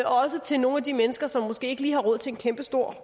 også til nogle af de mennesker som måske ikke lige har råd til en kæmpestor